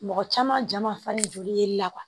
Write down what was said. Mɔgɔ caman ja ma fa ni joli ye la